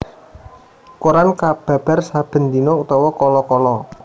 Koran kababar saben dina utawa kala kala